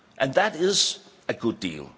That is a good deal.